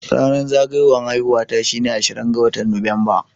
Ranar zagayuwan haihuwa shine ashirin ga watan Nuwamba.